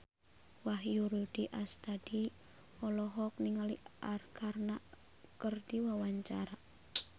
Wahyu Rudi Astadi olohok ningali Arkarna keur diwawancara